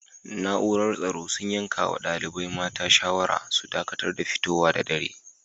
Naúrar tsoro sun yanka ma dalibain mata shawara su dakatar da fitowa da dare.